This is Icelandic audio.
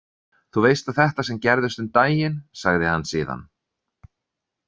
Þú veist að þetta sem gerðist um daginn, sagði hann síðan.